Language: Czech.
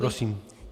Prosím.